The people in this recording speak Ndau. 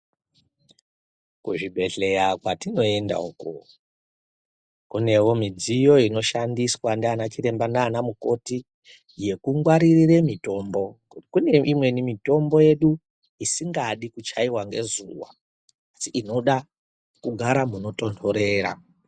Kuzvibhehlera kwetinoenda iyo ,kune ndau inongwaririrwa mitombo ngekuti pane imweni mitombo isingadi kuchaiwa ngezuwa inongoda ndau inotonhorera.